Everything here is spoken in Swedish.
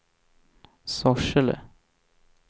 Sorsele